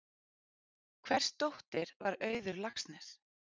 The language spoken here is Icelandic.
Hvers dóttir var Auður Laxness?